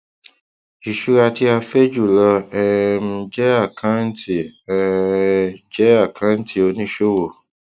ìṣura tí a fẹ jùlọ um jẹ akántì um jẹ akántì oníṣòwò